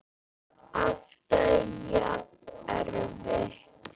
Alltaf jafn erfitt?